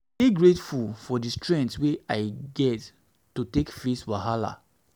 i dey grateful for di strength wey i get to take face wahala.